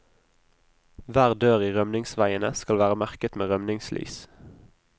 Hver dør i rømningsveiene skal være merket med rømningslys.